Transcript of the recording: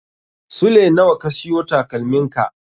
Sule nawa ka siyo takalmin ka?